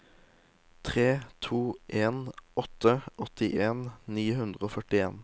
tre to en åtte åttien ni hundre og førtien